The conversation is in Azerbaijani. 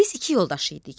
Biz iki yoldaş idik.